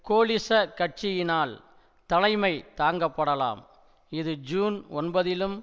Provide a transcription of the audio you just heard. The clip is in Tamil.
கோலிச கட்சியினால் தலைமை தாங்கப்படலாம் இது ஜூன் ஒன்பதிலும்